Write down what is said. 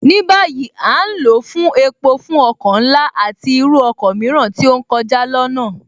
Ní báyìí, À ń lò ó fún epo fún ọkọ̀ ńlá, àti irú ọkọ mìíràn tí ó ń kọjá lọnáà